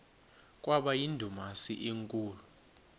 kwaba yindumasi enkulu